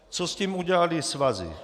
Co s tím udělaly svazy?